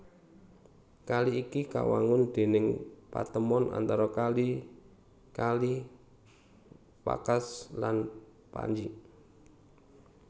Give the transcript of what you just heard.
Kali iki kawangun déning patemon antara kali kali Vakhsh lan Panj